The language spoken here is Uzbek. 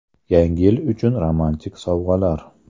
Yangi yil uchun romantik sovg‘alar.